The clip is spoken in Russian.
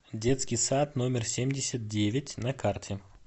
детский сад номер семьдесят девять на карте